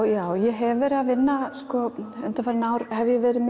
já ég hef verið að vinna undanfarin ár hef ég verið